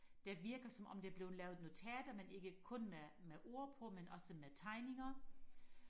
det virker som om der er blevet lavet noget teater men ikke kun med med ord på men også med tegninger